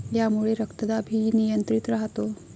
यामुळे रक्तदाब ही नियंत्रित राहतो.